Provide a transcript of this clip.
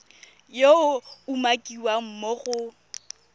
yo a umakiwang mo go